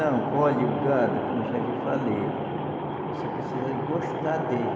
Não, olhe, o gado, como eu já lhe falei, você precisa gostar dele.